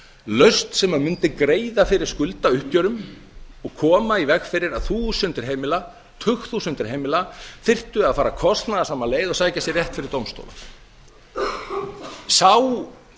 lausn sem mundi greiða fyrir skuldauppgjörum og koma í veg fyrir að þúsundir heimila tugþúsundir heimila þyrftu að fara kostnaðarsama leið og sækja sér rétt fyrir dómstólum sá